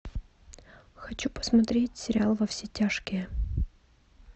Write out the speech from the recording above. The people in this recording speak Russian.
хочу посмотреть сериал во все тяжкие